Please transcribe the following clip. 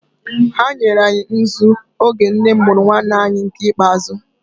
Ha nyere anyị nzu oge nne m mụrụ nwanne anyị nke ikpeazụ.